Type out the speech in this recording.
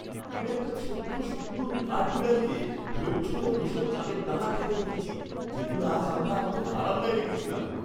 আমি একটা ছোট্ট সুন্দর কাঠবিড়ালকে ধৈর্য ধরে বসে চালের দানা খেতে দেখেছি যেগুলো আজ আমরা আমাদের বারান্দায় রেখেছিলাম।